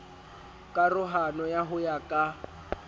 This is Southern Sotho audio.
karohano ya ho ya ka